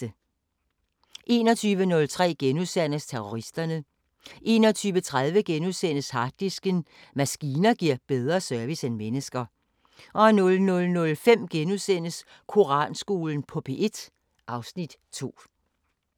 21:03: Terroristerne * 21:30: Harddisken: Maskiner giver bedre service end mennesker * 00:05: Koranskolen på P1 (Afs. 2)*